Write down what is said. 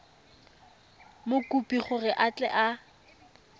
mokopi gore a tle a